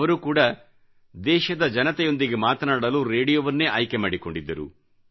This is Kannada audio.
ಅವರು ಕೂಡಾ ದೇಶದ ಜನತೆಯೊಂದಿಗೆ ಮಾತನಾಡಲು ರೇಡಿಯೋವನ್ನೇ ಆಯ್ಕೆ ಮಾಡಿಕೊಂಡಿದ್ದರು